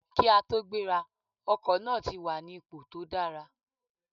Kí a tó gbéra, ọkọ̀ náà ti wà ní ipò tó dára